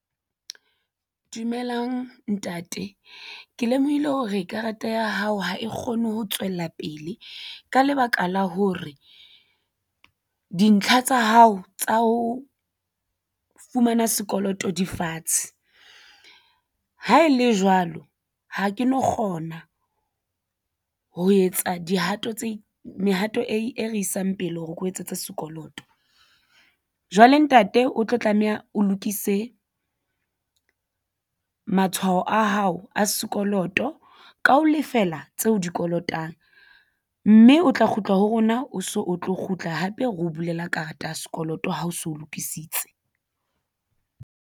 Dumelang ntate, ke lemohile hore karata ya hao ha e kgone ho tswella pele ka lebaka la hore dintlha tsa hao tsa ho fumana sekoloto di fatshe ha e le jwalo ha ke no kgona ho etsa dihato tse mehato e re isang pele hore ke o etsetse sekoloto. Jwale ntate o tlo tlameha o lokise matshwao a hao a sekoloto ka ho lefela tse o di kolotang mme o tla kgutla ho rona o so o tlo kgutla hape re o bulela karata ya sekoloto ha o so lokisitse.